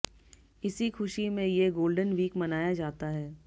इसी खुशी में ये गोल्डन वीक मनाया जाता है